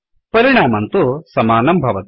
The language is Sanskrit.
परिणामं तु समानं भवति